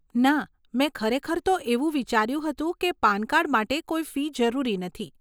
ના, મેં ખરેખર તો એવું વિચાર્યું હતું કે પાન કાર્ડ માટે કોઈ ફી જરૂરી નથી.